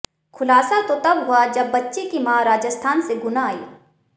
खुलासा तो तब हुआ जब बच्ची की मां राजस्थान से गुना आई